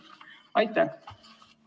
Aitäh!